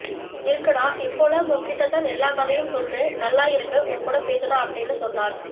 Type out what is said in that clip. இருக்கு டா இப்போலாம் உன்கிட்ட தான் எல்லா கதையும் சொல்றேன் நல்ல இருக்கு உன்கூட பேசுனா அப்டினு சொன்னாள்